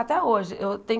Até hoje. Eu tenho